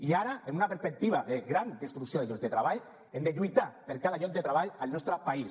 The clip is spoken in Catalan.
i ara amb una perspectiva de gran destrucció de llocs de treball hem de lluitar per cada lloc de treball al nostre país